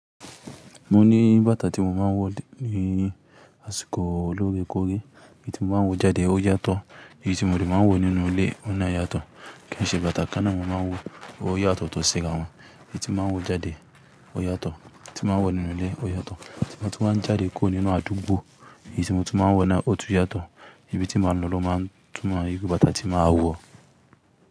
Mo ní bàtà tí mo máa ń wọ̀ ní àsìkò olórékórẹ́, èyí tí mo máa ń wọ̀ jáde ó yàtọ̀, èyí tí mo òde máa ń wọ nínú ilé ó náà yàtọ̀. Kí n ṣe bàtà kan náà mo máa ń wọ, ó yàtọ̀ tó ṣìkàn wọn. Èyí tí mo máa ń wọ̀ jáde ó yàtọ̀, èyí tí mo máa ń wọ nínú ilé ó yàtọ̀. Ṣègbé tí wọ́n ń jáde kúrò nínú àdúgbò, èyí tí mo ti máa ń wọ̀ náà ó tún yàtọ̀. Ibi tí mo máa ń lọ ló máa ń túnmọ̀ igi bàtà tí màá wọ̀.